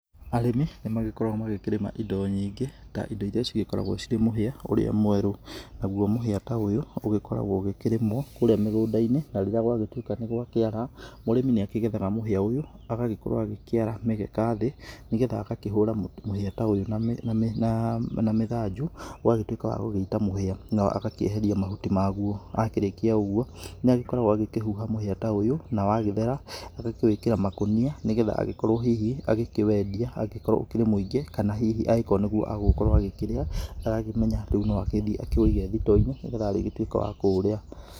Arĩmi nĩ magĩkoragwo makĩrĩma indo nyingĩ ta indo irĩa cigĩkoragwo cirĩ mũhĩa ũrĩa mweru nagũo mũhĩa ta ũyũ ũgĩkoragwo ũkĩrĩmwo kũrĩa mĩgũnda-inĩ na rĩrĩa gwagĩtuĩka nĩ gwakĩara mũrĩmĩ nĩ akĩgethaga ũyũ agakorwo akĩara mĩgeka thĩ nĩgetha agakĩhũra mũhĩa ta ũyũ na mĩthanju ũgagĩtuĩka wagũgĩita mũhĩa na agakĩeheria mahuti magũo, akĩrĩkia ũgũo nĩ agĩkoragwo akĩhuha mũhĩa ta ũyũ na wagĩthera agakĩwĩkĩra makũnia nĩgetha agĩkorwo hihi akĩwendia agĩkorwo ũkĩrĩ mwĩngĩ kana hihi angĩkorwo nĩgũo agũgĩkorwo akĩrĩa agakĩmenya rĩu no agĩthiĩ akĩwũige thito-inĩ nĩgetha arĩgĩtuĩka wa kũũrĩa.